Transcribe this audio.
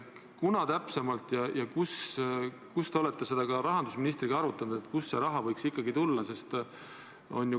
Kas te olete seda ka rahandusministriga arutanud, kunas täpsemalt ja kust see raha võiks ikkagi tulla?